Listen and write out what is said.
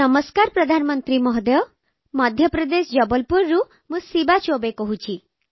ନମସ୍କାର ପ୍ରଧାନମନ୍ତ୍ରୀ ମହୋଦୟ ମଧ୍ୟପ୍ରଦେଶ ଜବଲପୁରରୁ ମୁଁ ଶିବା ଚୌବେ କହୁଛି